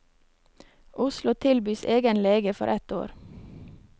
Oslo tilbys egen lege for ett år.